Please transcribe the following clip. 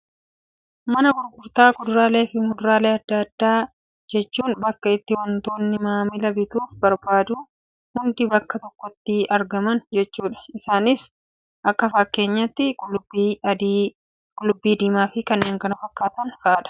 Mana gurgurtaa kuduraalee fi fuduraalee addaa addaa jechuun bakka itti waantotni maamilli bituuf barbaadu hundi bakka tokkotti argaman jechuudha. Isaanis akka fakkeenyaatti, qullubbii adii, qullubbii diimaa, fi kanneen kana fakkaatan fa'aa.